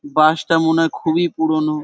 বাস টা মনে হয় খুবই পুরনো।